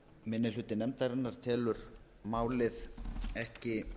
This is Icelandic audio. minni hluti nefndarinnar telur málið ekki